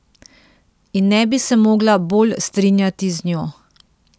In ne bi se mogla bolj strinjati z njo.